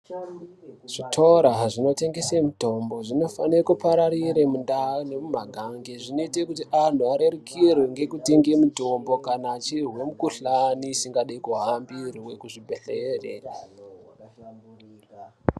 Zvitora zvino tengese mitombo zvinofane ku pararira mu ndau ne mu magange zvinoita kuti anhu arerukirwe ngeku tenge mutombo kana achizwe mu kuhlani asingadi ku hambirwe ku zvi bhedhlere.